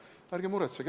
Ärge muretsege!